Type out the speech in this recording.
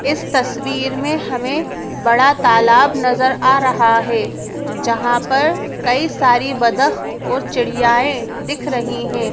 इस तस्वीर में हमें बड़ा तालाब नजर आ रहा है जहां पर कई सारी बदक और चिड़ियाए दिख रही हैं।